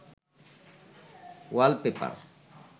wallpaper